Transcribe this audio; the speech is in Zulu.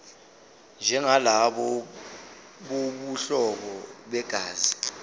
njengalabo bobuhlobo begazi